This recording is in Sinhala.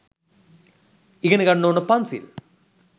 ඉගෙන ගන්න ඕන පන්සිල්